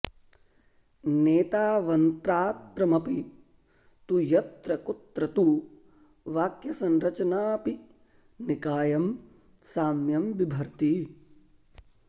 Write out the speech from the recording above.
नेतावन्त्रात्रमपि तु यत्र कुत्र तु वाक्यसंरचनाऽपि निकायं साम्यं बिभर्ति